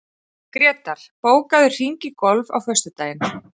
Grétar, bókaðu hring í golf á föstudaginn.